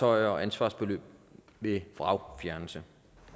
og ansvarsbeløb ved vragfjernelse